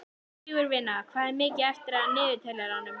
Sigurvina, hvað er mikið eftir af niðurteljaranum?